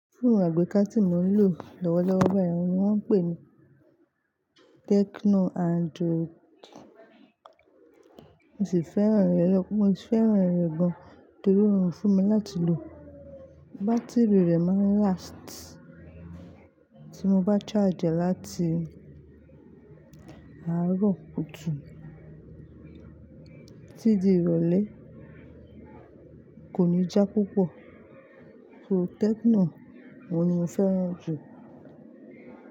Foonu àgbéká tí mo ń lò lọ́wọ́lọ́wọ́ bayii, òun ni wọ́n ń pè ní TekinoAndurodi. Mo sì fẹ́ràn rẹ̀ lọ́pọ̀, mo sì fẹ́ràn rẹ̀ gan torí ó rorun fún mi láti lò. Bátìrì rẹ̀ máa ń lasiti, tí mo bá saaji re láti àárọ̀ kùtù tí ti di ìrọ̀lẹ́ kò ní já púpọ̀. So tekino ni mo fẹ́ràn jù.